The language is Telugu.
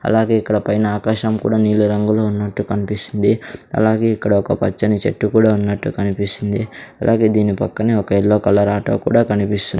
అలాగే ఇక్కడ పైన ఆకాశం కూడా నీలి రంగులో ఉన్నట్టు కనిపిస్తుంది అలాగే ఇక్కడ ఒక పచ్చని చెట్టు కూడా ఉన్నట్లు కనిపిస్తుంది అలాగే దీని పక్కనే ఒక ఎల్లో కలర్ ఆటో కూడా కనిపిస్తుంది.